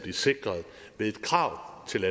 sikret ved et krav til